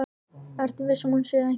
Ertu viss um að hún sé ekki.